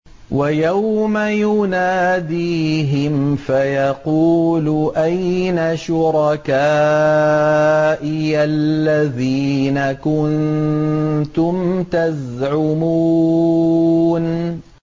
وَيَوْمَ يُنَادِيهِمْ فَيَقُولُ أَيْنَ شُرَكَائِيَ الَّذِينَ كُنتُمْ تَزْعُمُونَ